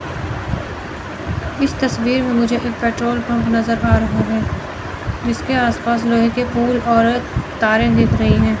इस तस्वीर मे मुझे एक पेट्रोल पंप नजर आ रहा है जिसके आस पास लोहे के पुल और तारे दिख रही है।